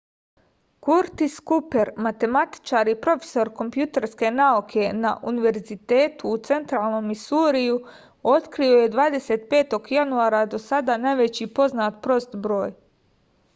kurtis kuper matematičar i profesor kompjuterske nauke na univerzitetu u centralnom misuriju otkrio je 25. januara do sada najveći poznat prost broj